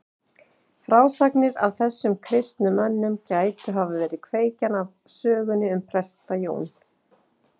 Frásagnir af þessum kristnu mönnum gætu hafa verið kveikjan af sögunni um Presta-Jón.